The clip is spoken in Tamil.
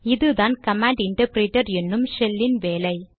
இதுதான் கமாண்ட் இன்டர்ப்ரேடர் என்னும் ஷெல் இன் வேலை